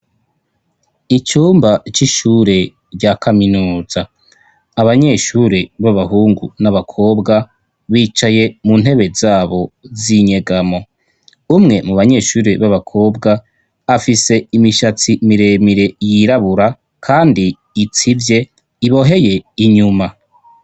Icumba c'ishure rya kaminuza ,abanyeshure b'abahungu n'abakobwa bicaye mu ntebe zabo z'inyegamo ,umwe mu banyeshuri b'abakobwa afise imishatsi miremire yirabura ,kandi itsivye iboheye inyuma.